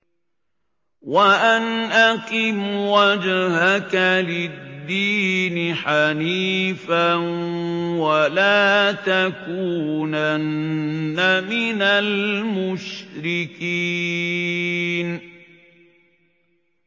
وَأَنْ أَقِمْ وَجْهَكَ لِلدِّينِ حَنِيفًا وَلَا تَكُونَنَّ مِنَ الْمُشْرِكِينَ